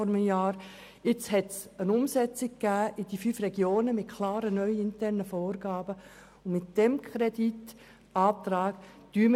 Nun hat es eine Umsetzung mit klaren neuen internen Vorgaben für die fünf Regionen gegeben.